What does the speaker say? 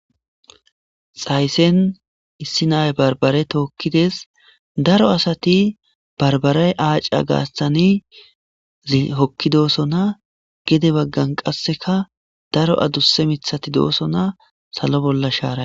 Xayssen issi nay barbare tookkides daro asati barbaray aaca gaastani hokki doosona gede baggan qasseka daro adusse mithati doosona salo bolla shaara